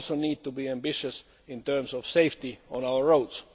We also need to be ambitious in terms of safety on our